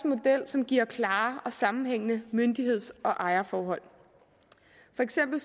model som giver klare og sammenhængende myndigheds og ejerforhold for eksempel